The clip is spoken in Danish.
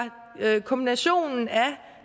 kombinationen af